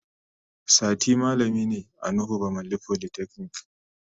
Sati malami ne a Nuhu bamalli folytechnic.